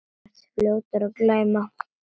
Þú ert fljótur að gleyma.